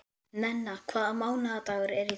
Nenna, hvaða mánaðardagur er í dag?